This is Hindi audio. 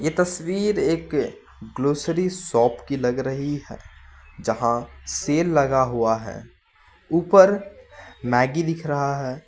तस्वीर एक ग्रॉसरी शॉप की लग रही है जहां सेल लगा हुआ है ऊपर मैगी दिख रहा है।